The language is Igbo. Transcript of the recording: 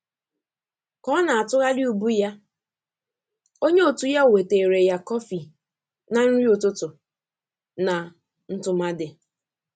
Ka ọ na-atụgharị ubu ya, onye òtù ya wetere ya kọfị na nri ụtụtụ na ntụmadị.